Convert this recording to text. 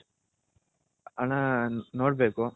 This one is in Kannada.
ಅಣ್ಣ ನೋಡ್ಬೇಕು.